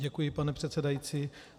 Děkuji, pane předsedající.